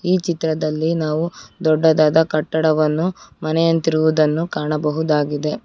ಈ ಚಿತ್ರದಲ್ಲಿ ನಾವು ದೊಡ್ಡದಾದ ಕಟ್ಟಡವನ್ನು ಮನೇಯಂತಿರುವುದನ್ನು ಕಾಣಬಹುದಾಗಿದೆ.